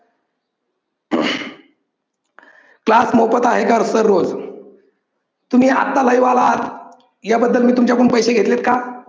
class मोफत आहे का sir रोज? तुम्ही आत्ता live आला आहात, या बद्दल मी तुमच्याकडून पैसे घेतलेत का?